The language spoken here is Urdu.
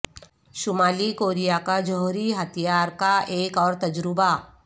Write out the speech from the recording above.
شمالی کوریا کا جوہری ہتھیار کا ایک اور تجربہ